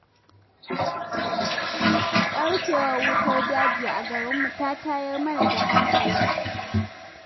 Ɓarkewar wutar daji a garinmu ta tayar mana da hankali.